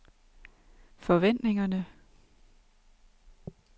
forventningerne